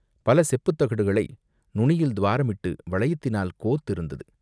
பல செப்புத் தகடுகளை நுனியில் துவாரமிட்டு வளையத்தினால் கோத்திருந்தது.